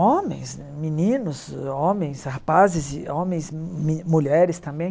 homens né, meninos, homens, rapazes, e homens, me mulheres também.